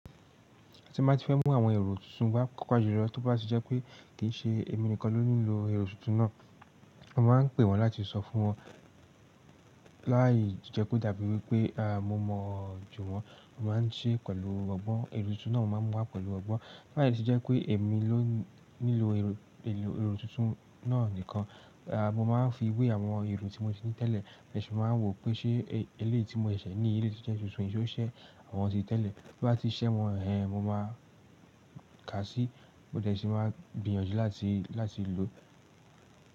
Tí n ti fẹ́ mú àwọn èrò tuntun wá pàápàá ju lọ, tó bá ti jẹ́ pé kì í ṣe èmi nìkan ló ní lo èrò tuntun náà, a máa ń pè wọ́n láti sọ fún wọn. Lái jẹ́ kò dàbí wípé́, à mo mọ̀ jù wọ́n, mo máa ń sei pẹ̀lú ọgbọ́n. Èrò tuntun náà mo máa ń mú wá pẹ̀lú ọgbọ́n. Lái se jẹ́ pé èmi ló ní lo èrò tuntun náà nìkan, a mo máa ń fi ìwé àwọn èrò tí mo ti ní tẹ́lẹ̀, mo ṣe máa ń wò pé ṣe eléeyi ti mo ṣẹ̀ṣẹ̀ ní, eléyi tọ́ je tuntun yi ó ṣẹ àwọn ti tẹ́lẹ̀. Bí bá ti ṣẹ wọ́n, ẹhn, mo máa ká sí, mo de ṣi máa gbìyànjú láti, láti lò.